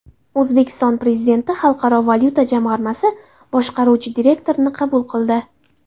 O‘zbekiston Prezidenti Xalqaro valyuta jamg‘armasi boshqaruvchi direktorini qabul qildi.